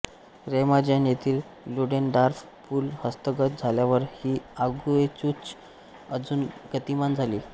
Remagen येथील Ludendorff पूल हस्तगत झाल्यावर ही आगेकूच अजून गतिमान झाली